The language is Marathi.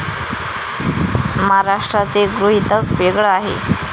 महाराष्ट्राचे गृहीतक वेगळं आहे.